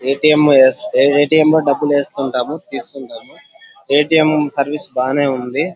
A T M S- A T M లో డబ్బులు వేస్తుంటాము తీస్తుంటము ఏ టి ఎం సర్వీస్ బాగానే ఉంది.